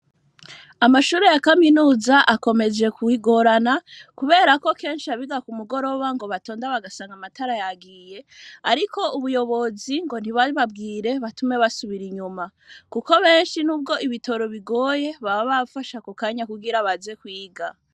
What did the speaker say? Amashuri ya kaminuza akomeje kugorana ku berako keshi abiga ku mugoroba ngo batonda bagasanga amatara yagiye ariko ubuyobozi ngo ntibababwire batume basubira inyuma kuko beshi nubwo ibitoro bigoye baba bafashe ako kanya kugira baze kwiga